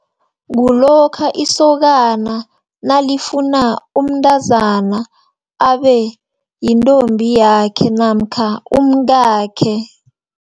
Kulokha isokana nalifunda umntazana, abeyintombi yakhe, namkha umngakhe.